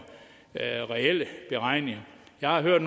reelle beregninger jeg har hørt